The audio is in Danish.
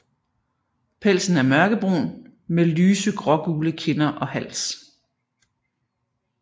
Pelsen er mørkebrun med lyse grågule kinder og hals